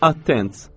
“Attens!”